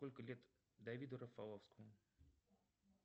сколько лет давиду рафаловскому